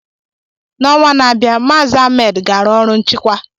N'ọnwa na-abịa, Mazi Ahmed ga-arụ ọrụ nchịkwa.